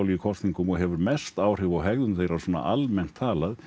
í kosningum og hefur mest áhrif á hegðun þeirra almennt talað